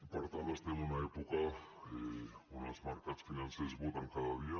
per tant estem en una època on els mercats financers voten cada dia